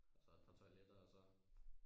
Og så et par toiletter og så